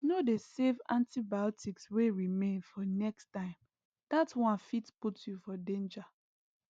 no dey save antibiotics wey remain for next time that one fit put you for danger